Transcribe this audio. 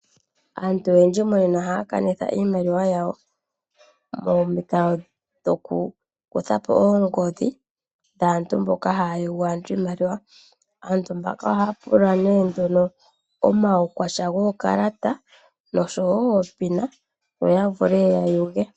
Aantu oyendji monena ohaya kanitha iimaliwa yawo tashi pitile momukalo gokukutha po oongodhi dhaantu mboka haya yugu aantu iimaliwa. Aantu mbaka ohaya pula nduno omaukwatya guukalata noshowo onomola yomeholamo yokakalata, opo ya vule ya yuge.